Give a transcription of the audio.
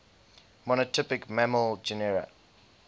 monotypic mammal genera